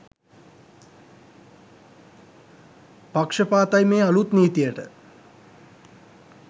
පක්ෂපාතයි මේ අලුත් නීතියට.